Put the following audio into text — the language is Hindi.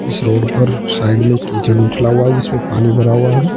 इस रोड पर साइड में कीचड़ उछला हुआ है जिसमें पानी भरा हुआ है।